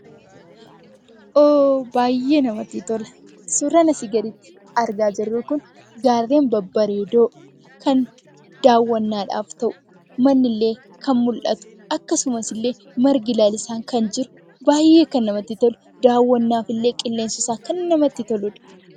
Baayyee namatti tola! Suuraan asiin gaditti ilaalaa jirru Kun, gaarreen babbareedoo kan daawwannaadhaaf ta'u, manni illee kan mul'atu akkasumas margi lalisaan kan jiru baayyee kan namatti tolu daawwannaaf illee qilleensi isaa kan namatti toludha.